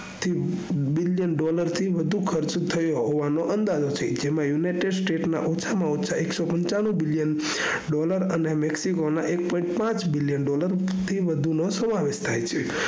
billion dollar થી વઘુ ખર્ચ થવાનો અંદાજો થયો છે જેમાં united states ના ઓછા માં ઓછા એકસો પણછાણું billion dollar અને mexico ના એક point પાંચ billion dollar થી વધુ નો સમાવેશ થાય છે